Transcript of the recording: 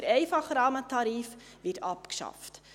Der einfache Rahmentarif wird abgeschafft.